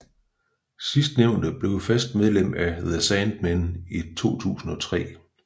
Sidstnævnte blev fast medlem af The Sandmen i 2003